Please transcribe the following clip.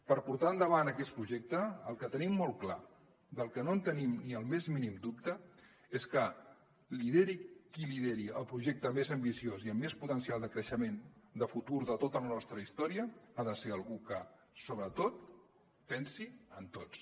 per portar endavant aquest projecte el que tenim molt clar no en tenim ni el més mínim dubte és que qui lideri el projecte més ambiciós i amb més potencial de creixement de futur de tota la nostra història ha de ser algú que sobretot pensi en tots